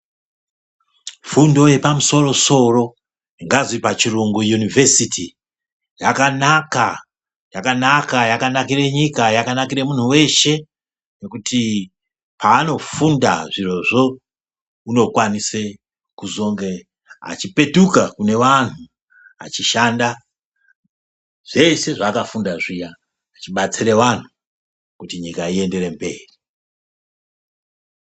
Fundo yepamusoro soro ingadai pachirungu (university) yakanaka, yakanaka yakanakire nyika , yakanakire munhu weshe ngekuti paanofunda zvirozvo unokwanise kuzonge achipetuka kune vanhu achishanda zvese zvaakafunda zviya achibatsira vanhu kuti nyika iyenderere mberi.